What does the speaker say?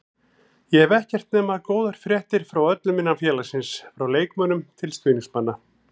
Ég hef ekkert heyrt nema góðar fréttir frá öllum innan félagsins, frá leikmönnum til stuðningsmanna.